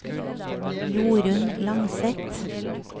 Jorunn Langseth